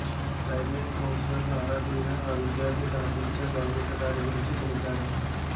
Childline కౌన్సిలర్లు ఆరా తీయగా ఆ విద్యార్థి తన టీచర్ లైంగిక దాడి గురించి తెలిపాడు